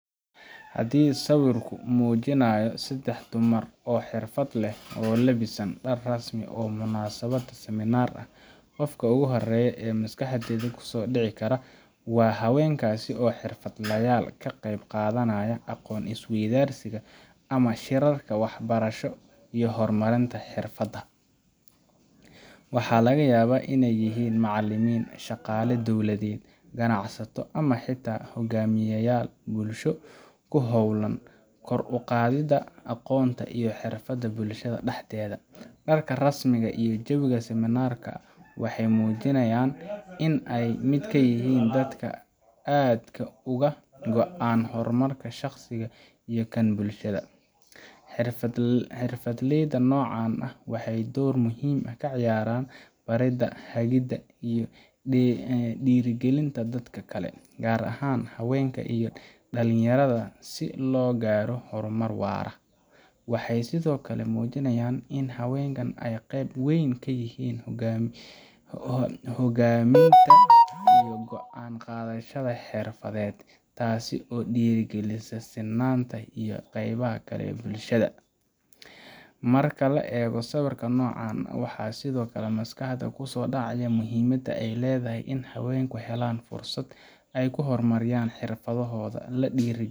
Haddii sawirku muujinayo saddex dumar oo xirfad leh, oo labisan dhar rasmi ah oo munaasabadda seminar ah, qofka ugu horreeya ee maskaxda ku soo dhici kara waa haweenkaasi oo ah xirfadlayaal ka qeyb qaadanaya aqoon isweydaarsiga ama shirarka waxbarasho iyo horumarinta xirfada. Waxaa laga yaabaa inay yihiin macallimiin, shaqaale dowladeed, ganacsato, ama xitaa hogaamiyeyaal bulsho oo ku hawlan kor u qaadida aqoonta iyo xirfadaha bulshada dhexdeeda. Dharka rasmi ah iyo jawiga seminar ka waxay muujinayaan in ay ka mid yihiin dadka aadka uga go’an horumarka shaqsi iyo kan bulshada. Xirfadleyda noocan ah waxay door muhiim ah ka ciyaaraan baridda, hagidda, iyo dhiirrigelinta dadka kale, gaar ahaan haweenka iyo dhalinyarada, si loo gaaro horumar waara. Waxay sidoo kale muujinayaan in haweenku ay qeyb weyn ka yihiin hoggaaminta iyo go’aan qaadashada xirfadeed, taas oo dhiirrigelisa sinnaanta iyo ka qeybgalka bulshada. Marka la eego sawirka noocan ah, waxaa sidoo kale maskaxda ku soo dhacaya muhiimadda ay leedahay in haweenku helaan fursad ay ku horumariyaan xirfadahooda, la dhiirrigeliyo